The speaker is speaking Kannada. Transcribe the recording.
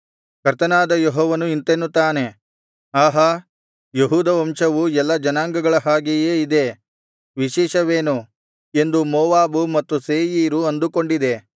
ಕರ್ತನಾದ ಯೆಹೋವನು ಇಂತೆನ್ನುತ್ತಾನೆ ಆಹಾ ಯೆಹೂದ ವಂಶವು ಎಲ್ಲಾ ಜನಾಂಗಗಳ ಹಾಗೆಯೇ ಇದೆ ವಿಶೇಷವೇನು ಎಂದು ಮೋವಾಬೂ ಮತ್ತು ಸೇಯೀರೂ ಅಂದುಕೊಂಡಿದೆ